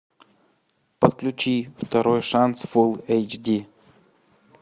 подключи второй шанс фулл эйч ди